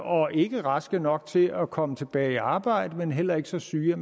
og ikke raske nok til at komme tilbage i arbejde men heller ikke så syge at